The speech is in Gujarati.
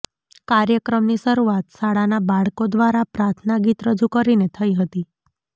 કાર્યક્રમની શરૂઆત શાળાના બાળકો દ્વારા પ્રાર્થના ગીત રજુ કરીને થઇ હતી